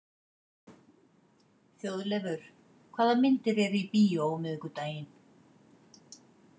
Þjóðleifur, hvaða myndir eru í bíó á miðvikudaginn?